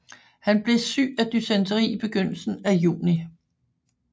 Han blev syg dysenteri i begyndelsen af juni